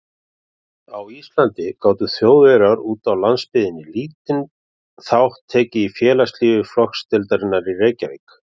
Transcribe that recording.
Á Íslandi gátu Þjóðverjar úti á landsbyggðinni lítinn þátt tekið í félagslífi flokksdeildarinnar í Reykjavík.